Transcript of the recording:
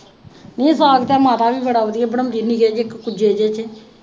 ਨੀ ਸਾਗ ਤੇ ਮਾਤਾ ਵੀ ਬੜਾ ਵਧੀਆ ਬਣਾਉਦੀ ਨਿੱਕੇ ਜਿਹੇ ਇੱਕ ਕੁੱਜੇ ਜੇ ਚ।